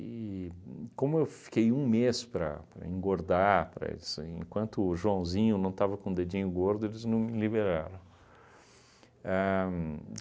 uhn como eu fiquei um mês para para engordar, para isso, enquanto o Joãozinho não estava com o dedinho gordo, eles não me liberaram. Ahn